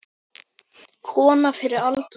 Kona fyrri alda.